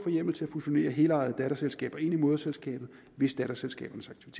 hjemmel til at fusionere helejede datterselskaber ind i moderselskabet hvis datterselskabernes